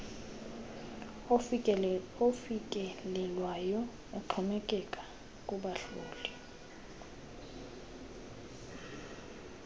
ofikelelwayo uxhomekeka kubahloli